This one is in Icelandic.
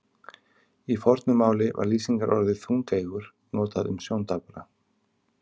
Í fornu máli var lýsingarorðið þungeygur notað um sjóndapra.